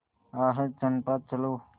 आह चंपा चलो